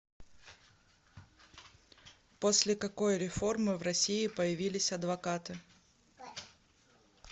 после какой реформы в россии появились адвокаты